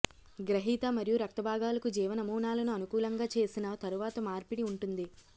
గ్రహీత మరియు రక్త భాగాలకు జీవ నమూనాలను అనుకూలంగా చేసిన తరువాత మార్పిడి వుంటుంది